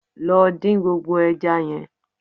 Lọ dín gbogbo ẹja yẹn